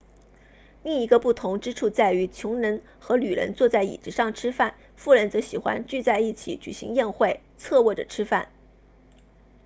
另一个不同之处在于穷人和女人坐在椅子上吃饭富人则喜欢聚在一起举行宴会侧卧着吃饭